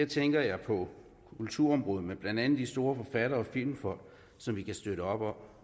tænker jeg på kulturområdet med blandt andet de store forfattere og filmfolk som vi kan støtte op om